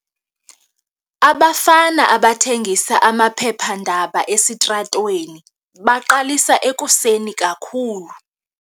Abafana abathengisa amaphephandaba esitratweni baqalisa ekuseni kakhulu.